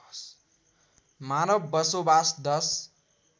मानव बसोबास १०